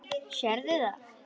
Sérðu það?